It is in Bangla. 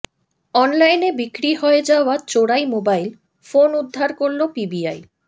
অনলাইনে বিক্রি হয়ে যাওয়া চোরাই মোবাইল ফোন উদ্ধার করলো পিবিআই